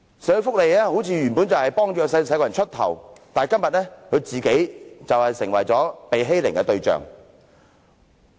社會福利界原本是為弱勢社群出頭，但今天他們卻成為被欺凌的對象。